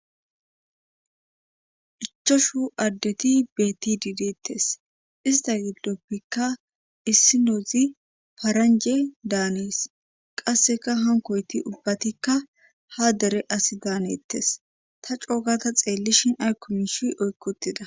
ichoshu addeti beetti diidettes ista gidoppekka issinoozi paranje daanees qasseka hankoyti ubbatikka ha dere asi daanettes ta coogata xeellishin aykomishi oykkotida